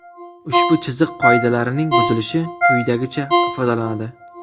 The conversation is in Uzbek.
Ushbu chiziq qoidalarining buzilishi quyidagicha ifodalanadi.